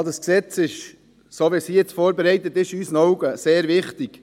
Das Gesetz ist so, wie es vorbereitet wurde, sehr wichtig.